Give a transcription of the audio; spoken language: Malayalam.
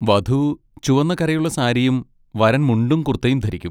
വധു ചുവന്ന കരയുള്ള സാരിയും വരൻ മുണ്ടും കുർത്തയും ധരിക്കും.